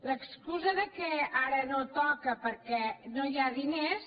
l’excusa que ara no toca perquè no hi ha diners